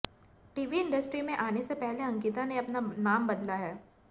TV industry में आने से पहले अंकिता ने अपना नाम बदला है